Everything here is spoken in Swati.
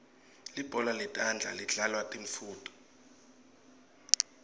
libhola letandla lidlalwa tintfounto